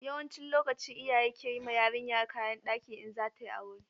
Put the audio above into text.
Yawancin lokaci iyaye ke yi ma yarinya kayan ɗaki in za ta yi aure.